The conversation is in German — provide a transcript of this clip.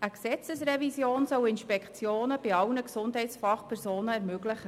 Eine Gesetzesrevision soll Inspektionen bei allen Gesundheitsfachpersonen ermöglichen.